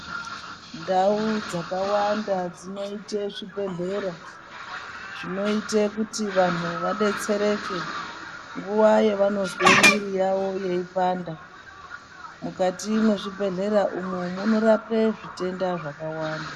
Ndau dzakawanda dzinoita zvibhedhlera zvinoita kuti vantu vadetsereke nguwa yavanonzwa mwiri yawo yeipanda mukati mezvibhedhlera umu munorapa zvitenda zvakawanda.